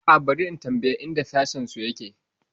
A'a, bari na tambayi inda sashensu yake.